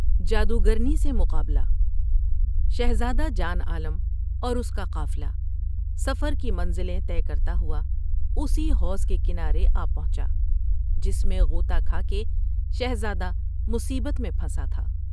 جادوگرنی سے مقابلہ شہزاد و جان عالم اور اس کا قافلہ سفر کی منزلیں طے کرتا ہوا اسی حوض کے کنارے آ پہنچا جس میں غوطہ کھا کے شہزادہ مصیبت میں پھنسا تھا ۔